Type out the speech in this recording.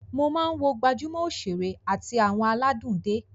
Mo máa ń wo gbajúmọ̀ òṣèré àti àwọn aládùn dé